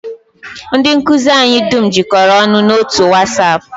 Ndị nkụzi anyị dum jikọrọ ọnụ n'otu otu wasap